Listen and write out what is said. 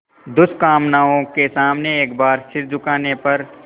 दुष्कामनाओं के सामने एक बार सिर झुकाने पर